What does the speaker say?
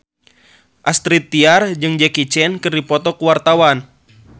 Astrid Tiar jeung Jackie Chan keur dipoto ku wartawan